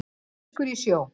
Krossfiskur í sjó.